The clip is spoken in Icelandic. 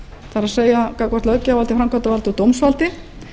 það er gagnvart löggjafarvaldi framkvæmdarvaldi og dómsvaldi